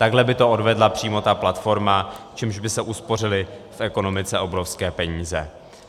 Takhle by to odvedla přímo ta platforma, čímž by se uspořily v ekonomice obrovské peníze.